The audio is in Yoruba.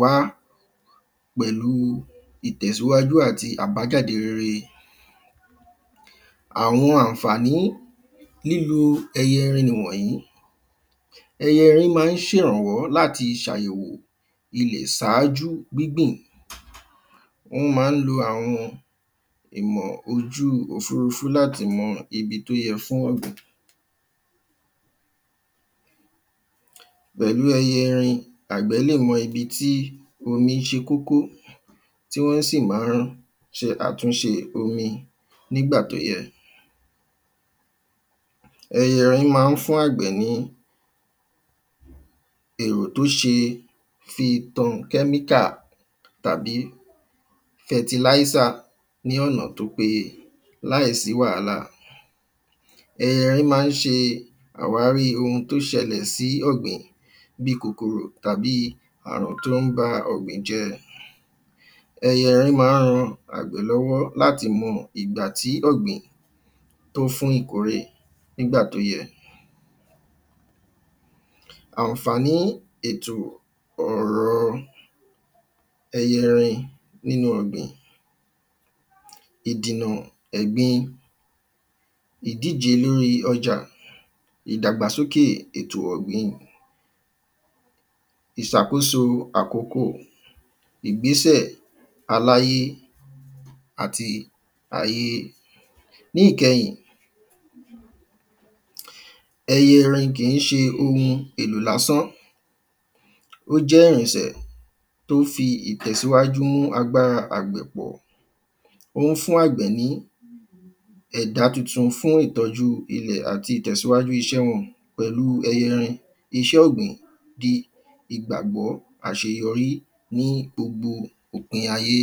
wá pẹ̀lú ìtẹ̀síwájú àti àbájáde rere Àwọn àǹfàní lílò ẹyẹ erin nìwọ̀nyìí Ẹyẹ erin máa ń ṣèrànwọ́ láti ṣàyẹ̀wò ilẹ̀ ṣáájú gbígbìn Wọ́n máa ń lo àwọn ìmọ̀ ojú ofurufú láti mọ ibi tí ó yẹ fún ọ̀gbìn Pẹ̀lú ẹyẹ erin àgbẹ̀ lè mọ ibi tí omi ṣe kókó tí wọ́n sì ma ṣe àtúnṣe omi nígbà tí ó yẹ Ẹyẹ erin máa ń fún àgbẹ̀ ní èrò tí ó ṣe fi tan chemical tàbí fertilizer ní ọ̀nà tí ó péye láìsí wàhálà Ẹyẹ erin máa ń ṣe àwárí oun tí ó ṣẹlẹ̀ sí ọ̀gbìn bíi kòkòrò tàbí ààrùn tí ó ba ọ̀gbìn jẹ́ Ẹyẹ erin máa ń ran àgbẹ̀ lọ́wọ́ láti mọ ìgbà tí ọ̀gbìn tó fún ìkórè nígbà tí ó yẹ Àǹfàní ètò ọrọ̀ ẹyẹ erin nínú ọ̀gbìn Ìdìnà ẹ̀gbin ìdíje lorí ọjà ìdàgbàsókè ètò ọ̀gbìn ìṣàkóso àkókò ìgbésẹ̀ àlàyé àti ayé Ní ìkẹyìn ẹyẹ erin kì ń ṣe oun èlò lásán Ó jẹ́ irìnsẹ̀ tí ó fi ìtẹ̀síwájú mú agbára àgbẹ̀ pọ̀ O ń fún àgbẹ̀ ní ẹ̀dà tuntun fún ìtọ́jú ìle àti ìtẹ̀síwájú iṣẹ́ wọn Pẹ̀lú ẹyẹ erin iṣẹ́ ọ̀gbìn di ìgbàgbọ́ àṣeyọrí ní gbogbo òpin ayé